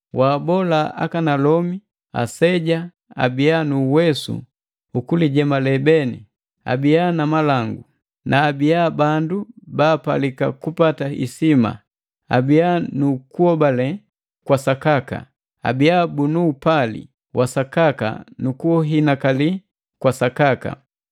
Waabola akanalomi aseja abia nu uwesu ukulijemale beni, abia na malangu na abia bandu baapalika kupata isima, abia nu kuhobale kwasakaka, abia bunu upali wasakaka nu kuhinakali kwa sakaka.